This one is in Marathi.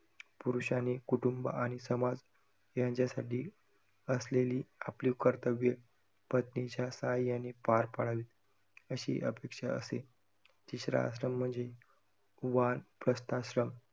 पुरुषाने कुटुंब आणि समाज यांच्यासाठी असलेली आपली कर्तव्य पत्नीच्या साह्याने पार पडावीत, अशी अपेक्षा असे. तिसरा आश्रम म्हणजे वानरप्रस्थाश्रम